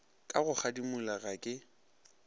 ka go kgadimola ga ke